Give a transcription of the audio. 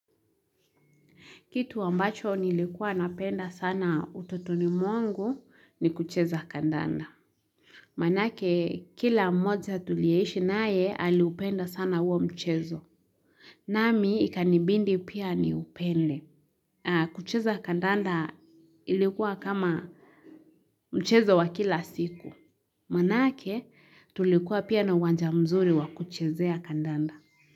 Kitu wambacho nilikuwa napenda sana ututoni mwangu ni kucheza kandanda. Manake kila mmoja tulieishi nae aliupenda sana huo mchezo. Nami ikanibindi pia ni upende. Kucheza kandanda ilikuwa kama mchezo wa kila siku. Manake tulikuwa pia na uwanja mzuri wa kuchezea kandanda.